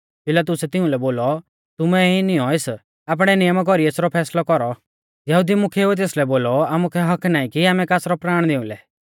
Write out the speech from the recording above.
पिलातुसै तिउंलै बोलौ तुमै ई नियौं एस आपणै नियमा कौरी एसरौ फैसलौ कौरौ यहुदी मुख्येउऐ तेसलै बोलौ आमुकै हक्क्क नाईं की आमै कासरौ प्राण निऊं लै